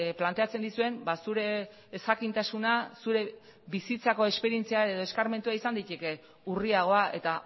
planteatzen dizuen zure ezjakintasuna zure bizitzako esperientzia edo eskarmentua izan daiteke urriagoa eta